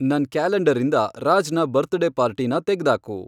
ನನ್ ಕ್ಯಾಲೆಂಡರ್ರಿಂದ ರಾಜ್ನ ಬರ್ತಡೇ ಪಾರ್ಟೀನ ತೆಗ್ದಾಕು